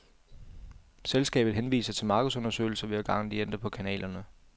Selskabet henviser til markedsundersøgelser hver gang de ændrer på kanalerne.